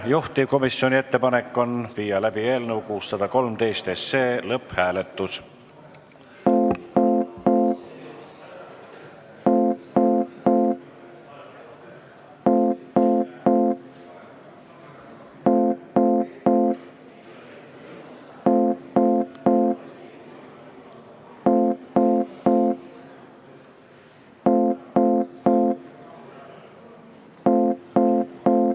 Juhtivkomisjoni ettepanek on viia läbi eelnõu 613 lõpphääletus.